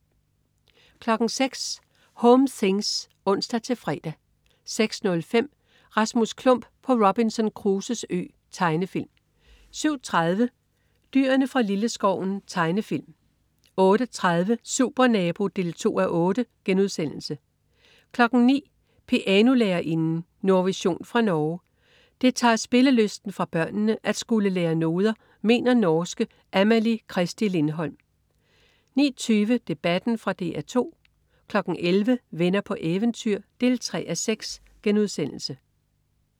06.00 Home things (ons-fre) 06.05 Rasmus Klump på Robinson Crusoes Ø. Tegnefilm 07.30 Dyrene fra Lilleskoven. Tegnefilm 08.30 Supernabo 2:8* 09.00 Pianolærerinden. Nordvision fra Norge. Det tager spillelysten fra børnene at skulle lære noder, mener norske Amalie Christie Lindholm 09.20 Debatten. Fra DR 2 11.00 Venner på eventyr 3:6*